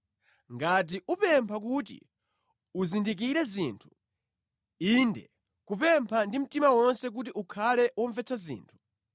ngati upempha kuti uzindikire zinthu inde kupempha ndi mtima wonse kuti ukhale womvetsa zinthu,